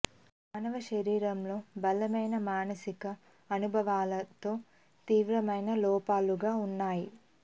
మానవ శరీరంలో బలమైన మానసిక అనుభవాలను తో తీవ్రమైన లోపాలుగా ఉన్నాయి